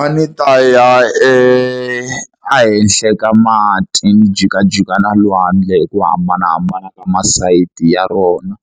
A ni ta ya ehenhla ka mati ni jikajika na lwandle hi ku hambanahambana ka masayiti ya rona